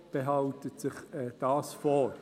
Die FiKo behält sich dies vor.